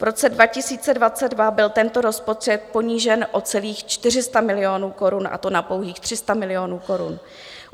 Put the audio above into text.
V roce 2022 byl tento rozpočet ponížen o celých 400 milionů korun, a to na pouhých 300 milionů korun.